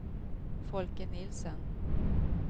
Folke Nielsen